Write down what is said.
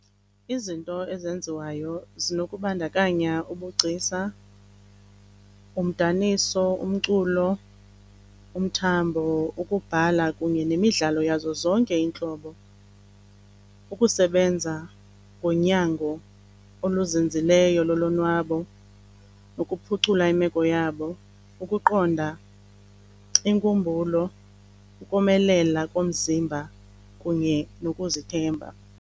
Izinto ezenziwayo zinokubandakanya ubugcisa, umdaniso, umculo, umthambo, ukubhala kunye nemidlalo yazo zonke iintlobo. Ukusebenza ngonyango oluzinzileyo lolonwabo nokuphucula imeko yabo, ukuqonda inkumbulo, ukomelela komzimba kunye nokuzithemba.